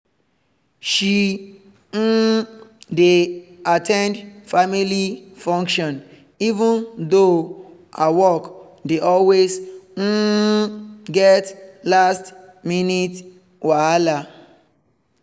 she um dey at ten d family function even though her work dey always um get last-minute whala